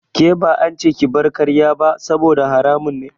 Ke ba ance ki bar karya ba saboda haramun ne.